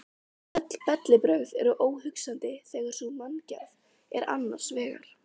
Öll bellibrögð eru óhugsandi þegar sú manngerð er annars vegar.